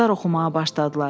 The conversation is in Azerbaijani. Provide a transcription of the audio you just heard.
Quşlar oxumağa başladılar.